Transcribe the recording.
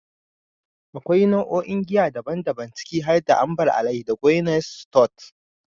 Akwai nau'o'in giya daban-daban, ciki har da "Amber ale da Guinness stout".